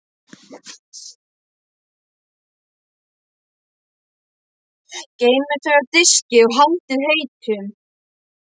Geymið þau á diski og haldið heitum.